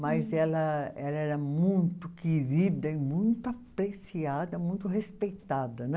Mas ela ela era muito querida e muito apreciada, muito respeitada, né?